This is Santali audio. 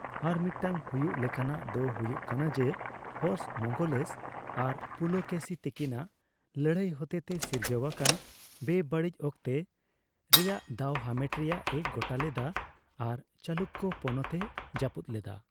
ᱟᱨ ᱢᱤᱫᱴᱟᱝ ᱦᱩᱭᱩᱜ ᱞᱮᱠᱟᱱᱟᱜ ᱫᱚ ᱦᱩᱭᱩᱜ ᱠᱟᱱᱟ ᱡᱮ ᱦᱚᱨᱥ ᱢᱚᱝᱜᱚᱞᱮᱥ ᱟᱨ ᱯᱩᱞᱚᱠᱮᱥᱤ ᱛᱟᱹᱠᱤᱱᱟᱜ ᱞᱟᱹᱲᱦᱟᱹᱭ ᱦᱚᱛᱮᱛᱮ ᱥᱤᱨᱡᱟᱹᱣ ᱟᱠᱟᱱ ᱵᱮᱼᱵᱟᱹᱲᱤᱡ ᱚᱠᱛᱮ ᱨᱮᱭᱟᱜ ᱫᱟᱣ ᱦᱟᱢᱮᱴ ᱨᱮᱭᱟᱜ ᱮ ᱜᱚᱴᱟ ᱞᱮᱫᱟ ᱟᱨ ᱪᱟᱞᱩᱠᱠᱚ ᱯᱚᱱᱚᱛ ᱮ ᱡᱟᱯᱩᱫ ᱞᱮᱫᱟ ᱾